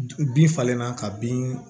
Bin falenna ka bin